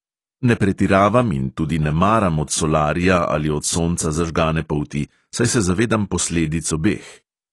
Ne pretiravam in tudi ne maram od solarija ali od sonca zažgane polti, saj se zavedam posledic obeh.